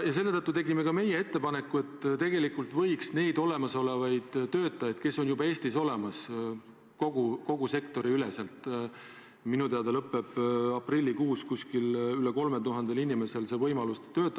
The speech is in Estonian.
Ka meie tegime ettepaneku, et tegelikult võiks nendel olemasolevatel töötajatel, kes juba Eestis on, kogu sektori üleselt – minu teada lõppeb aprillikuus veidi rohkem kui 3000 inimesel tööluba, edasi töötada.